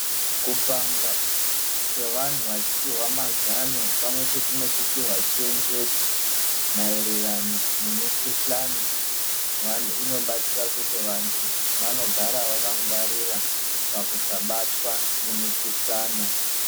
Kupangwa kwevanhu vachipiwa mazano pamwe chete nekupihwa chenjedzo maererano nemikuhlana inobatsira kuti vantu vanogara vakangwarira pakusabatwa nemikuhlana.